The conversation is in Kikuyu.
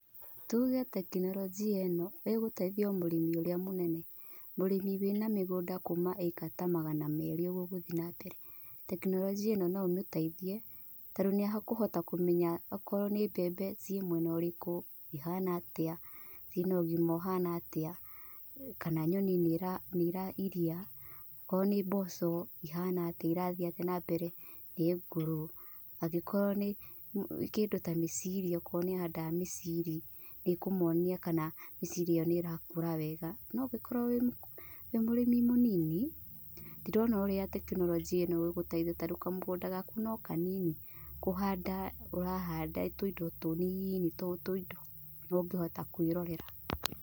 Tuge tekinoronjia ĩno ĩgũteithia o mũrĩmi ũrĩa mũnene, mũrĩmi wĩna mĩgũnda kũma acre ta magana merĩ ũguo gũthiĩ na mbere. Tekinoronjia ĩno no ũmeteithie tondũ nĩ akũhota kũmenya okorwo nĩ mbembe ciĩmwena ũrĩkũ, ihana atĩa, ciĩna ũgima ũhana atĩa kana nyoni nĩ irairia korwo nĩ mboco ihana atĩa irathiĩ atĩa na mbere, nĩ ngũrũ? Angĩkorwo na kĩndũ ta mĩciri okorwo nĩ ahandaga mĩciri nĩ kũmwonia kana mĩciri ĩyo nĩ ĩrakũra wega. No ũngĩkorwo ũrĩ mũrĩmi mũnini, ndirona ũrĩa tekinoronjĩ ĩno ĩngĩgũteithia tarĩ kamũgũnda gaku no kanini kũhanda ũrahanda tũindo tunini, o tũindo ũngĩhota kwĩrorera.